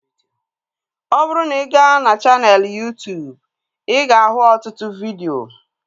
Ọ bụrụ na ị ga na chaneelụ Yuu-tuubu ị ga ahụ ọtụtụ vidio